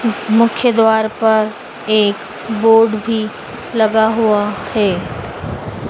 मुख्य द्वार पर एक बोर्ड भी लगा हुआ है।